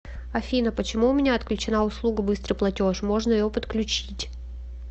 афина почему у меня отключена услуга быстрый платеж можно ее подключить